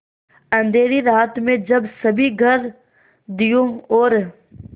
अँधेरी रात में जब सभी घर दियों और